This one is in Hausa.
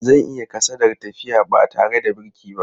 Zan yi kasadar tafiya ba tare da birki ba.